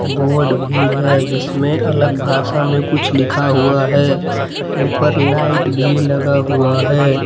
Board भी है जिसमें अलग भाषा मे कुछ लिखा हुआ है ऊपर लाइट भी लगा हुआ है।